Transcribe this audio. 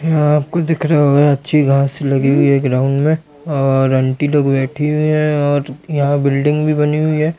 यहाँ आपको दिख रहा होगा अच्छी घास लगी हुई है ग्राउंड में और आंटी लोग बैठी हुई है और यहाँ बिल्डिंग भी बनी हुई हैं।